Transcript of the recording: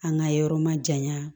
An ka yɔrɔ ma janya